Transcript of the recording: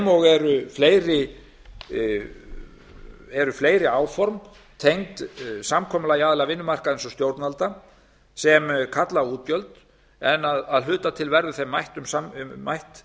sem og eru fleiri áform tengd samkomulagi aðila vinnumarkaðarins og stjórnvalda sem kalla á útgjöld en að hluta til verður þeim mætt